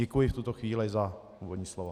Děkuji v tuto chvíli za úvodní slovo.